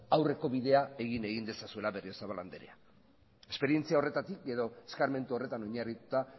aurreko bidea egin egin dezazuela berriozabal andrea esperientzia horretatik edo eskarmentu horretan oinarrituta